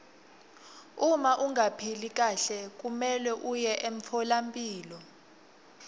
uma ungaphili kahle kumelwe uye emtfolampilo